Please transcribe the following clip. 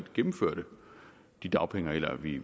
gennemførte de dagpengeregler vi